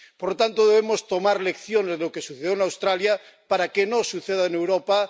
Por lo tanto, debemos sacar lecciones de lo que sucedió en Australia para que no suceda en Europa.